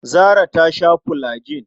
Zarah ta sha fulajin.